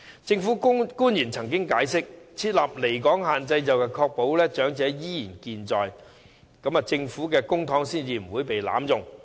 政府官員曾經解釋，設立離港限制可以確保長者依然健在，以及公帑不會被濫用。